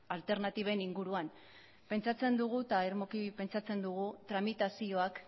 alternatiben inguruan pentsatzen dugu eta irmoki pentsatzen dugu tramitazioak